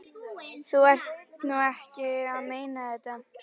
Þú ert nú ekki að meina þetta!